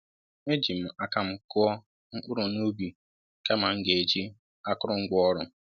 E Jim aka m kụọ mkpụrụ n'ubi kama m ga e jì akụrụ ngwá ọrụ